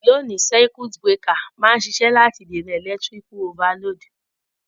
Loni, circuit breaker ma n sisẹ́ láti dènàn electrical overload